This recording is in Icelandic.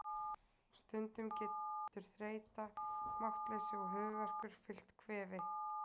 Stundum getur þreyta, máttleysi og höfuðverkur fylgt kvefi.